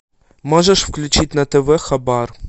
можешь включить на тв хабар